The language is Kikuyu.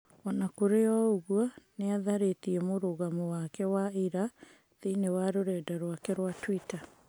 Ona kũrĩ o ũguo nĩatharĩtie mũrugamo wake wa ira thĩiniĩ wa rũrenda rwake rwa twita.